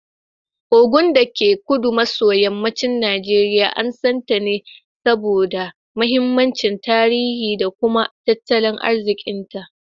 Ogun, dake kudu maso yammacin Najeriya, an san ta ne saboda mahimmancin tarihi da kuma tattalin arzikinta.